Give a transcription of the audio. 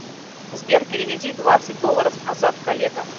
сбер переведи двадцать долларов азат коллега